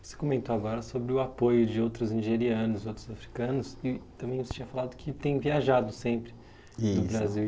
Você comentou agora sobre o apoio de outros nigerianos, outros africanos, e também você tinha falado que tem viajado sempre. Isso. No Brasil.